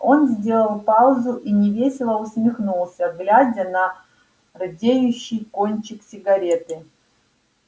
он сделал паузу и невесело усмехнулся глядя на рдеющий кончик сигареты